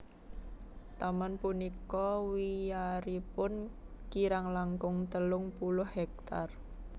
Taman punika wiyaripun kirang langkung telung puluh hektar